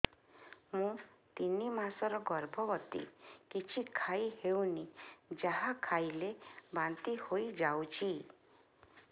ମୁଁ ତିନି ମାସର ଗର୍ଭବତୀ କିଛି ଖାଇ ହେଉନି ଯାହା ଖାଇଲେ ବାନ୍ତି ହୋଇଯାଉଛି